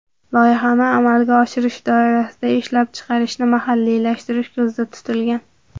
Loyihani amalga oshirish doirasida ishlab chiqarishni mahalliylashtirish ko‘zda tutilgan.